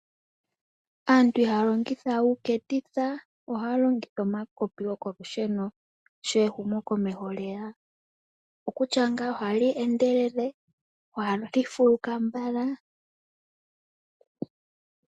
Aantu ihaya longitha we uuketitha ohaya longitha omakopi gokolusheno sho ehumokomeho lyeya. Okutya ngaa oha li endelele lyo oha li fuluka mbala.